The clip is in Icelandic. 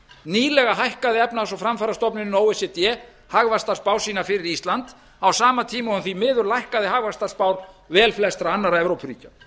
nýlega hækkaði efnahags og framfarastofnunin o e c d hagvaxtarspá sína fyrir ísland á sama tíma og hún því miður lækkað hagvaxtarspár velflestra annarra evrópuríkja